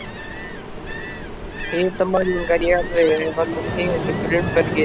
Hitamælingar í jarðvegi ef hann hylur grunnbergið.